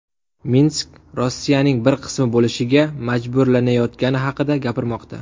Minsk Rossiyaning bir qismi bo‘lishiga majburlanayotgani haqida gapirmoqda.